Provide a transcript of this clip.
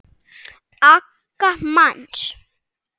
aga manns.